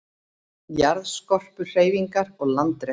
Jarðskorpuhreyfingar og landrek